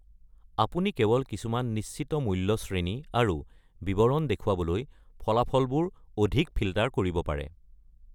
আপুনি কেৱল কিছুমান নিশ্চিত মুল্য শ্ৰেণী আৰু বিৱৰণ দেখুৱাবলৈ ফলাফলবোৰ অধিক ফিল্টাৰ কৰিব পাৰে।